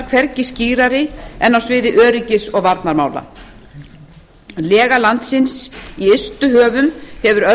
hvergi skýrari en á sviði öryggis og varnarmála lega landsins í ystu höfum hefur